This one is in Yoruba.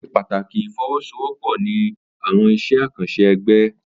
O ṣe pàtàkì ifowosowopo ní awọn iṣẹ akanṣe ẹgbẹ.